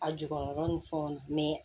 A jukɔrɔla ni fɛnw na